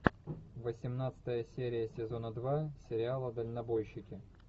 восемнадцатая серия сезона два сериала дальнобойщики